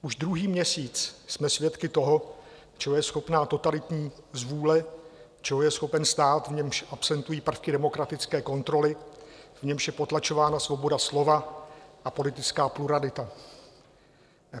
Už druhý měsíc jsme svědky toho, čeho je schopna totalitní zvůle, čeho je schopen stát, v němž absentují prvky demokratické kontroly, v němž je potlačována svoboda slova a politická pluralita.